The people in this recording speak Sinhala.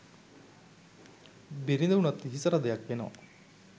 බිරිඳ උනත් හිසරදයක් වෙනවා